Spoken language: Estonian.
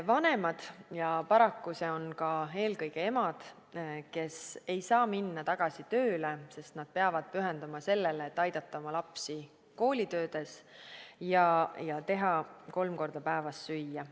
Vanemad – ja paraku need on eelkõige emad – ei saa minna tööle, sest nad peavad pühenduma sellele, et aidata oma lapsi koolitöödes ja teha kolm korda päevas süüa.